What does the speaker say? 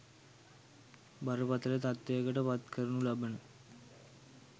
බරපතල තත්ත්වයකට පත්කරනු ලබන